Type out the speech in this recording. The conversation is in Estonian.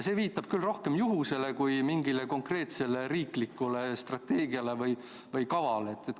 See viitab küll rohkem juhusele kui mingile konkreetsele riiklikule strateegiale või kavale.